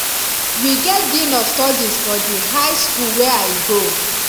we get dean of studies for di high skool wey i go